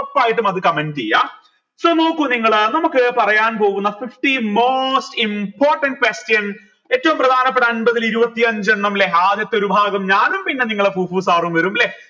ഉറപ്പായിട്ടും അത് comment എയ്യ so നോക്കു നിങ്ങൾ നമുക്ക് പറയാൻ പോകുന്ന fifty most important questions ഏറ്റവും പ്രധാനപ്പെട്ട അമ്പതിൽ ഇരുപത്തിയഞ്ചെണ്ണം ല്ലെ ആദ്യത്തെ ഒരു ഭാഗം ഞാനും പിന്നെ നിങ്ങളെ sir ഉം വരും ല്ലെ